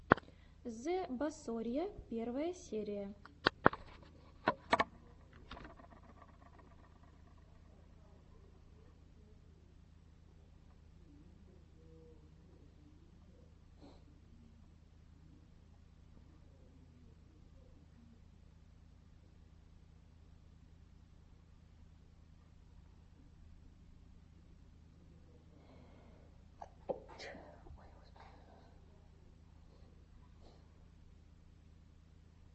зэбасорья первая серия